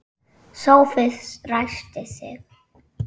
Sófus ræskti sig.